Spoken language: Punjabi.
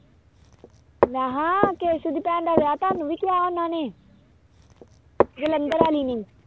ਮੈਂ ਕਿਹਾ ਕੇਸੂ ਦੀ ਭੈਣ ਦਾ ਵਿਆਹ ਤੁਹਾਨੂੰ ਵੀ ਕਿਹਾ ਉਹਨਾਂ ਨੇ ਜਲੰਧਰ ਵਾਲੀ ਨੇ